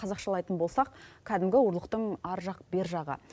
қазақшалайтын болсақ кәдімгі ұрлықтың ар жақ бер жағы